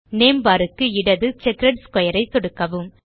name bar க்கு இடது checked square ஐ சொடுக்கவும்